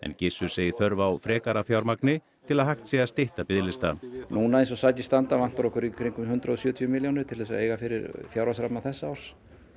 Gissur segir þörf á frekara fjármagni til að hægt sé að stytta biðlista núna eins og sakir standa vantar okkur í kringum hundrað og sjötíu milljónir til þess að eiga fyrir fjárhagsramma þessa árs